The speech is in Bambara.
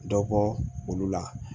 Dɔ bɔ olu la